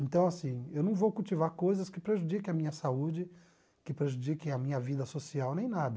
Então assim, eu não vou cultivar coisas que prejudiquem a minha saúde, que prejudiquem a minha vida social, nem nada.